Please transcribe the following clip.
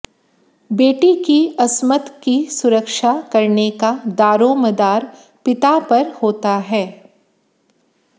बेटी की अस्मत की सुरक्षा करने का दारोमदार पिता पर होता है